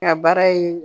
Ka baara ye